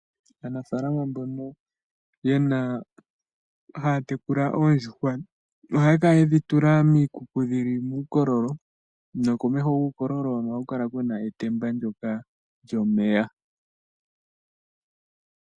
Aanafaalama mboka haya tekula oondjuhwa ohaya kala yedhi tula miikuku, dhili muukololo, no komeho guukololo hono ohaku kala kuna etemba lyomeya.